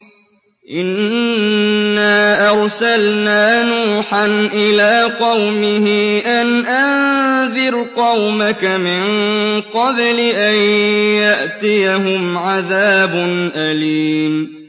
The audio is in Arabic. إِنَّا أَرْسَلْنَا نُوحًا إِلَىٰ قَوْمِهِ أَنْ أَنذِرْ قَوْمَكَ مِن قَبْلِ أَن يَأْتِيَهُمْ عَذَابٌ أَلِيمٌ